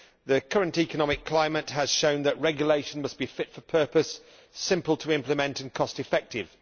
The current economic climate has shown that regulation must be fit for purpose, simple to implement and cost effective.